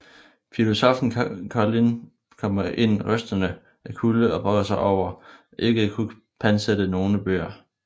Filosoffen Colline kommer ind rystende af kulde og brokker sig over ikke at kunne pantsætte nogle bøger